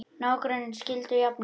Nágrannarnir skildu jafnir